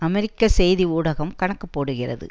அமெரிக்க செய்தி ஊடகம் கணக்கு போடுகிறது